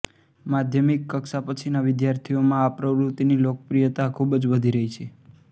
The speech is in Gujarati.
માધ્યમિક કક્ષા પછીના વિદ્યાર્થીઓમાં આ પ્રવૃતિની લોકપ્રિયતા ખૂબ વધી રહી છે